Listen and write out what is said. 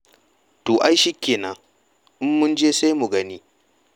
To ai shi kenan, in mun je sai mu gani.